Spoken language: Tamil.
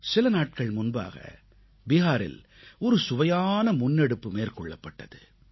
சில நாட்கள் முன்பாக பிஹாரில் ஒரு சுவையான முன்னெடுப்பு மேற்கொள்ளப்பட்டது